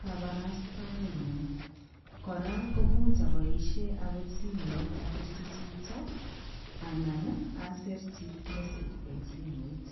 kabarastaenyu. Kora komuch aboisien agot simoit abirchi chito anan asirchi message eng simoit.